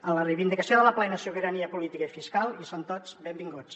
en la reivindicació de la plena sobirania política i fiscal hi són tots benvinguts